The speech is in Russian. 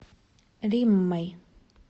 риммой